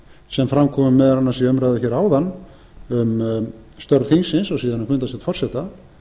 sem fram kom meðal annars í umræðu hér áðan um störf þingsins og síðan um fundarstjórn forseta